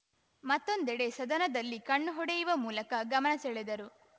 ಮತ್ತೊಂದೆಡೆ ಸದನದಲ್ಲಿ ಕಣ್ಣು ಹೊಡೆಯುವ ಮೂಲಕ ಗಮನ ಸೆಳೆದರು